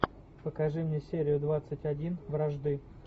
покажи мне серию двадцать один вражды